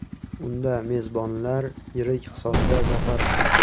Unda mezbonlar yirik hisobda zafar quchdi.